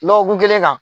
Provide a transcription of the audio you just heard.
Lɔgɔkun kelen kan